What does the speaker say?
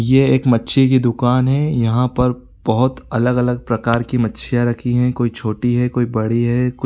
ये एक मच्छी की दूकान है यहाँ पर बहुत अलग -अलग प्रकार की मच्छियाँ रखी है कोई छोटी है कोई बड़ी है कु --